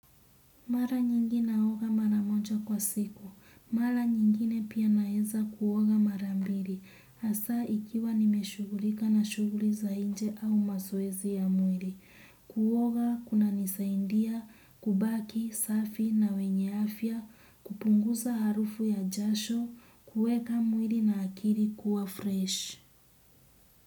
Mara nyingi naoga mara moja kwa siku. Mara nyingine pia naeza kuoga mara mbili. Asa ikiwa nimeshugulika na shughuli za inje au maswezi ya mwili. Kuoga, kuna nisaindia, kubaki, safi na wenye afia, kupunguza harufu ya jasho, kuweka mwili na akili kuwa fresh.